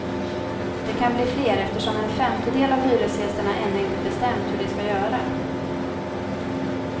Det kan bli fler eftersom en femtedel av hyresgästerna ännu inte bestämt hur de ska göra.